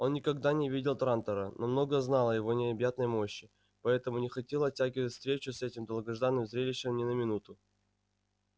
он никогда не видел трантора но много знал о его необъятной мощи поэтому не хотел оттягивать встречу с этим долгожданным зрелищем ни на минуту